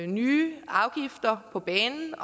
nye afgifter på banen